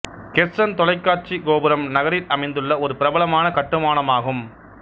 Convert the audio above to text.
Kherson தொலைக்காட்சிக் கோபுரம் நகரில் அமைந்துள்ள ஒரு பிரபலமான கட்டுமானம் ஆகும்